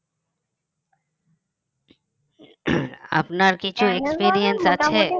আপনার কিছু experience আছে